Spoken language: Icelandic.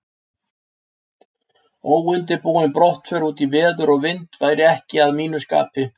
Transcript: Óundirbúin brottför út í veður og vind væri ekki að mínu skapi.